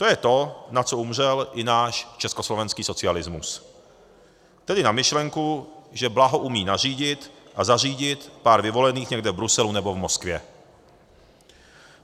To je to, na co umřel i náš československý socialismus, tedy na myšlenku, že blaho umí nařídit a zařídit pár vyvolených někde v Bruselu nebo v Moskvě.